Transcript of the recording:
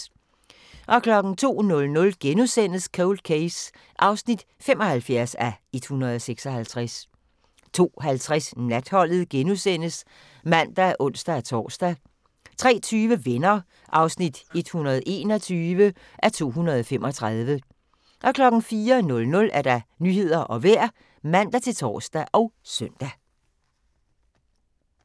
02:00: Cold Case (75:156)* 02:50: Natholdet *(man og ons-tor) 03:20: Venner (121:235) 04:00: Nyhederne og Vejret (man-tor og søn)